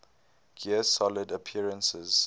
gear solid appearances